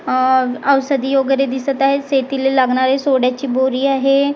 आह औषधी वगेरे दिसत आहे शेतीला लागणारी सोड्याची बोरी आहे आह--